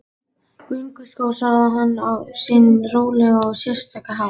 Gönguskó svaraði hann á sinn rólega og sérstaka hátt.